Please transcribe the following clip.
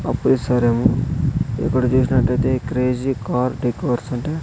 ఆపీసరేమో ఇక్కడ చూసినట్టైతే crazy car డేకార్స్ అంటే--